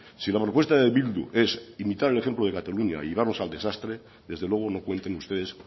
si la propuesta de bildu es imitar el ejemplo de cataluña y llevarnos al desastre desde luego no cuenten ustedes